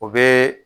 O bɛ